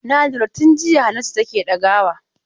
Na lura tun jiya Hannatu take ɗagawa.